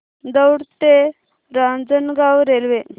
दौंड ते रांजणगाव रेल्वे